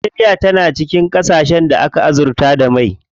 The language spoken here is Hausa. Najeriya na cikin ƙasashen da aka azurta da mai.